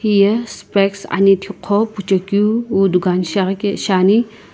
hiye spects anhethikuqo phuchekeu wu dukan shiaghike shiani.